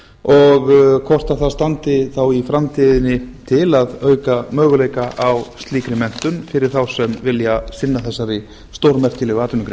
og hvort það standi þá í framtíðinni til að auka möguleika á slíkri menntun fyrir þá sem vilja þessari stórmerkilegu atvinnugrein